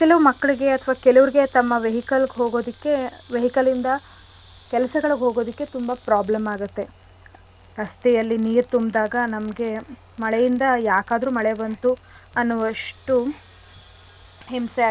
ಅಥ್ವಾ ಕೆಲವ್ರಿಗೆ ತಮ್ಮ vehicle ಗ್ ಹೋಗೋದಕ್ಕೆ vehicle ಇಂದ ಕೆಲ್ಸಗಳಿಗ್ ಹೋಗೋದಿಕ್ಕೆ ತುಂಬಾ problem ಆಗತ್ತೆ ರಸ್ತೆಯಲ್ಲಿ ನೀರ್ ತುಂಬ್ದಾಗ ನಮ್ಗೆ ಮಳೆಯಿಂದ ಯಾಕಾದ್ರು ಮಳೆ ಬಂತು ಅನ್ನುವಷ್ಟು ಹಿಂಸೆ ಆಗತ್ತೆ .